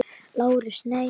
LÁRUS: Nei.